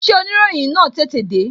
Ṣé oniroyin na tètè de?